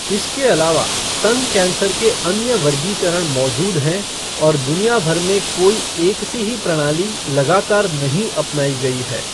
इसके अलावा, स्तन कैंसर के अन्य वर्गीकरण मौजूद हैं और दुनिया भर में कोई एक सी ही प्रणाली लगातार नहीं अपनाई गई है।